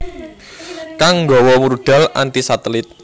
kang nggawa rudal anti satelit